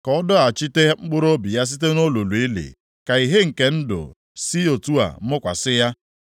Ka ọ dọghachite mkpụrụobi ya site nʼolulu ili, ka ìhè nke ndụ si otu a mụkwasị ya.